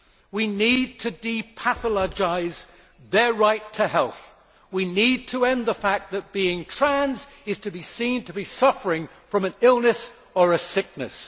We need to depathologise their right to health, we need to end the fact that being trans is to be seen to be suffering from an illness or a sickness.